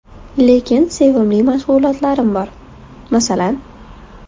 Lekin sevimli mashg‘ulotlarim bor... - Masalan?